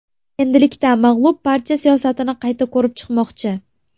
Endilikda mag‘lub partiya siyosatini qayta ko‘rib chiqmoqchi.